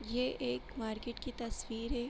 ये एक मार्केट की तस्‍वीर हैं।